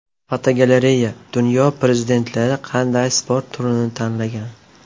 Fotogalereya: Dunyo prezidentlari qanday sport turini tanlagan.